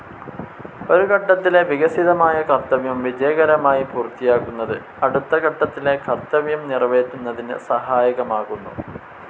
ഒരു ഘട്ടത്തിലെ വികസിതമായ കർത്തവ്യം വിജയകരമായി പൂർത്തിയാക്കുന്നത് അടുത്ത ഘട്ടത്തിലെ കർത്തവ്യം നിറവേറ്റുന്നതിന് സഹായകമാകുന്നു.